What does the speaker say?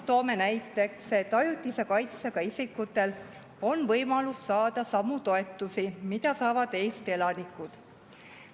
Toon näiteks, et ajutise kaitsega isikutel on võimalus saada samu toetusi, mida saavad Eesti elanikud.